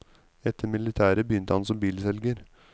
Etter militæret begynte han som bilselger.